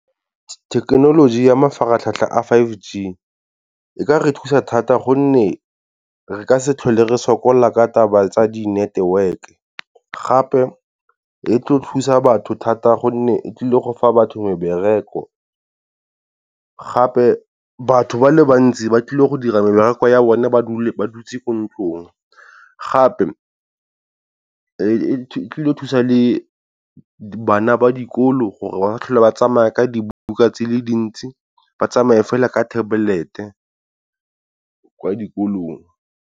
Thekenoloji ya mafaratlhatlha a five G e ka re thusa thata gonne re ka se tlhole re sokola la ka taba tsa di-network-e, gape e tlo thusa batho thata gonne e tlile go fa batho mebereko. Gape batho ba le bantsi ba tlile go dira mebereko ya bone ba dutse ko ntlong, gape e tlile go thusa le bana ba dikolo gore ba tlhole ba tsamaya ka dibuka di le dintsi ba tsamaye fela ka tablet kwa dikolong.